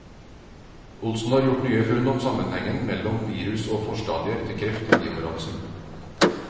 Olsen har gjort nye funn om sammenhengen melom virus og forstadier til kreft i livmorhalsen.